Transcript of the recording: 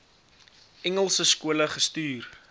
engelse skole gestuur